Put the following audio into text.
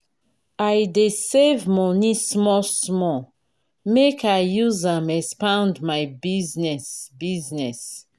i dey save moni small-small make i use am expand my business. business.